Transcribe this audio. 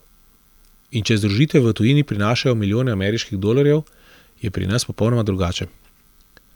In če združitve v tujini prinašajo milijone ameriških dolarjev, je pri nas popolnoma drugače.